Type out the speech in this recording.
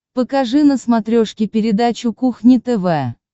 покажи на смотрешке передачу кухня тв